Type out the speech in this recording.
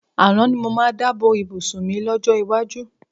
Àrán ni mo máa dà bo ìbùsùn mi lọ́jọ́ iwájú.